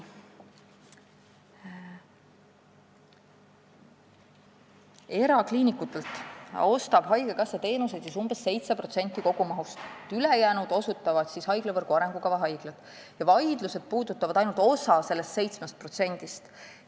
Erakliinikutelt ostab haigekassa teenuseid umbes 7% kogumahust – ülejäänud teenuseid osutavad haiglavõrgu arengukava haiglad – ja vaidlused puudutavad ainult osa sellest 7%-st.